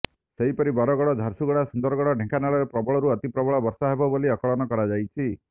ସେହିପରି ବରଗଡ଼ ଝାରସୁଗୁଡ଼ା ସୁନ୍ଦରଗଡ଼ ଢେଙ୍କାନାଳରେ ପ୍ରବଳରୁ ଅତି ପ୍ରବଳ ବର୍ଷା ହେବ ବୋଲି ଆକଳନ କରାଯାଇଛି